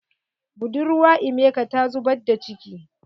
Budurwa emeka ta zubar da ciki.